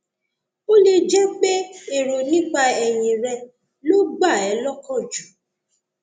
ó lè jẹ pé èrò nípa ẹyìn rẹ ló gbà ẹ lọkàn jù